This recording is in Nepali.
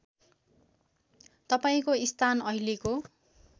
तपाईँको स्थान अहिलेको